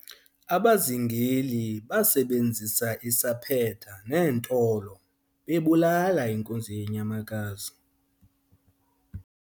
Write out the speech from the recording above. abazingeli basebenzisa isaphetha neentolo bebulala inkunzi yenyamakazi